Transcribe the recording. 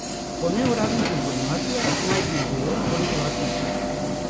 Po neuradnih informacijah naj bi jih bilo okoli dva tisoč.